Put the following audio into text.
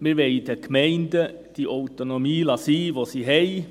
Wir wollen den Gemeinden die Autonomie, die sie haben, lassen.